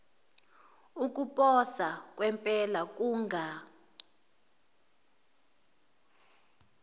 ukuposa kwempela kunga